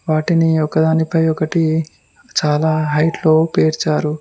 వాటిని ఒకదానిపై ఒకటి చాలా హైట్ లో పేర్చారు.